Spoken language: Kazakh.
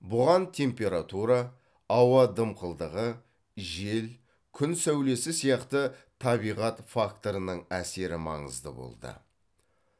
бұған температура ауа дымқылдығы жел күн сәулесі сияқты табиғат факторының әсері маңызды болды